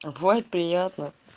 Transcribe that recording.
вой приятно